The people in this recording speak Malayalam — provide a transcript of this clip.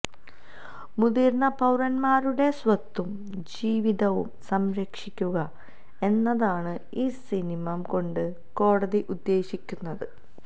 മുതിര്ന്ന പൌരന്മാരുടെ സ്വത്തും ജീവിതവും സംരക്ഷിക്കുക എന്നതാണ് ഈ നിയമം കൊണ്ട് കോടതി ഉദ്ദേശിക്കുന്നത്